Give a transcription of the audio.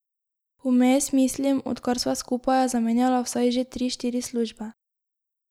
Vmes, mislim, odkar sva skupaj, je zamenjala vsaj že tri, štiri službe.